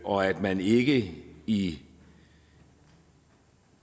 og at man ikke i